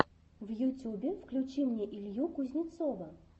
в ютюбе включи мне илью кузнецова